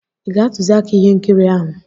Ị ga-atụziaka ihe nkiri ahụ.